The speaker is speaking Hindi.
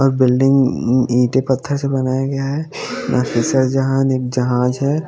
और बिल्डिंग अम ईंटें पत्थर से बनाया गया है एक जहाज है।